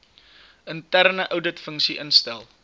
interne ouditfunksie instel